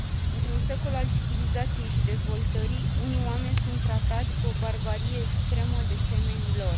Într un secol al civilizației și dezvoltării, unii oameni sunt tratați cu o barbarie extremă de semenii lor.